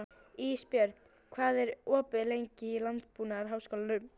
Ísbjörn, hvað er opið lengi í Landbúnaðarháskólanum?